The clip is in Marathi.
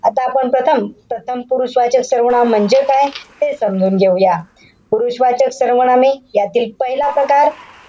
आता आपण प्रथम, प्रथम पुरुषवाचक सर्वनाम म्हणजे काय हे समजून घेऊया. पुरुषवाचक सर्वनामे यातील पहिला प्रकार.